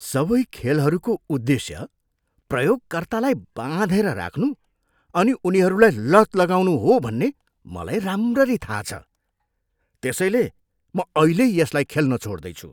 सबै खेलहरूको उद्देश्य प्रयोगकर्तालाई बाँधेर राख्नु अनि उनीहरूलाई लत लगाउनु हो भन्ने मलाई राम्ररी थाहा छ, त्यसैले म अहिल्यै यसलाई खेल्न छोड्दैछु।